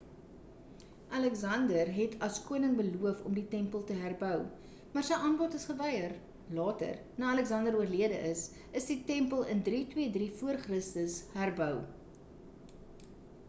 aleksander het as koning beloof om die tempel te herbou maar sy aanbod is geweier later na aleksander oorlede is is die tempel in 323 v.c. herbou